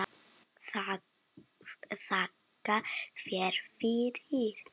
Þakka þér fyrir.